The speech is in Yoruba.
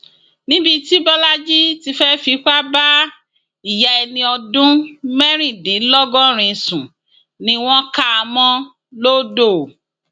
níbi tí bọlajì ti fẹẹ fipá bá ìyá ẹni ọdún mẹrìndínlọgọrin sùn ni wọn kà á mọ lodò